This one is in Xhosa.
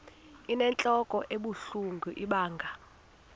inentlok ebuhlungu ibanga